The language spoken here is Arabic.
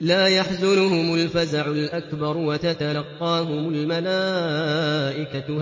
لَا يَحْزُنُهُمُ الْفَزَعُ الْأَكْبَرُ وَتَتَلَقَّاهُمُ الْمَلَائِكَةُ